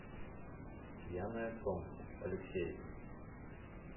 пьяное солнце алексеев